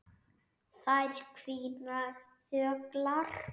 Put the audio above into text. Þær hvína þöglar.